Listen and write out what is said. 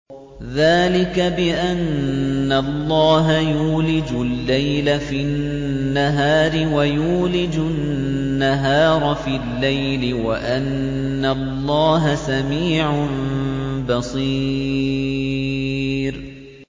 ذَٰلِكَ بِأَنَّ اللَّهَ يُولِجُ اللَّيْلَ فِي النَّهَارِ وَيُولِجُ النَّهَارَ فِي اللَّيْلِ وَأَنَّ اللَّهَ سَمِيعٌ بَصِيرٌ